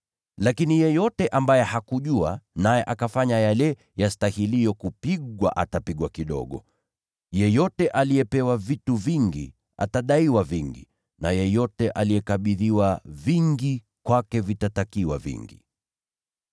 Lakini yeyote ambaye hakujua naye akafanya yale yastahiliyo kupigwa, atapigwa kidogo. Yeyote aliyepewa vitu vingi, atadaiwa vingi; na yeyote aliyekabidhiwa vingi, kwake vitatakiwa vingi.